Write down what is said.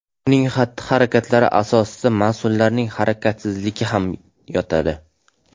Uning xatti-harakatlari asosida mas’ullarning harakatsizligi ham yotadi .